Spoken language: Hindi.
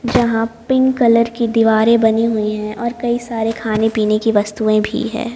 यहाँ पिंक कलर की दीवारें बनी हुई हैं और कई सारी खाने-पीने की वस्तुएं भी हैं।